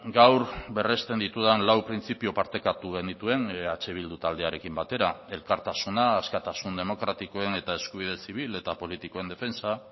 gaur berresten ditudan lau printzipio partekatu genituen eh bildu taldearekin batera elkartasuna askatasun demokratikoen eta eskubide zibil eta politikoen defentsa